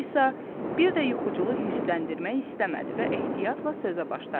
Alisa bir də yuxuculu hirsləndirmək istəmədi və ehtiyatla sözə başladı.